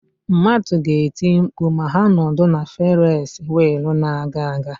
Mmadụ ga-eti mkpu ma ha nọdụ na Ferisi wịịlụ na-aga aga.